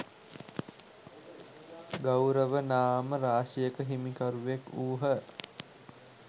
ගෞරව නාම රාශියක හිමිකරුවෙක් වූහ.